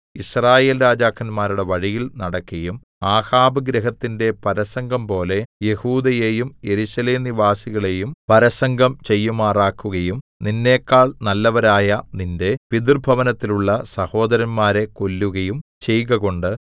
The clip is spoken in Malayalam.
യിസ്രായേൽ രാജാക്കന്മാരുടെ വഴിയിൽ നടക്കയും ആഹാബ് ഗൃഹത്തിന്റെ പരസംഗംപോലെ യെഹൂദയെയും യെരൂശലേം നിവാസികളെയും പരസംഗം ചെയ്യുമാറാക്കുകയും നിന്നെക്കാൾ നല്ലവരായ നിന്റെ പിതൃഭവനത്തിലുള്ള സഹോദരന്മാരെ കൊല്ലുകയും ചെയ്കകൊണ്ട്